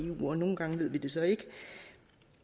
og nogle gange ved vi det så ikke